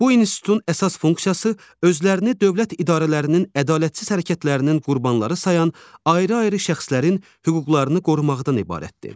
Bu institutun əsas funksiyası özlərini dövlət idarələrinin ədalətsiz hərəkətlərinin qurbanları sayan ayrı-ayrı şəxslərin hüquqlarını qorumaqdan ibarətdir.